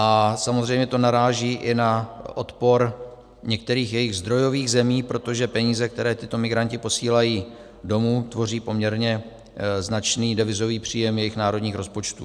A samozřejmě to naráží i na odpor některých jejich zdrojových zemí, protože peníze, které tito migranti posílají domů, tvoří poměrně značný devizový příjem jejich národních rozpočtů.